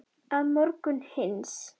Að morgni hins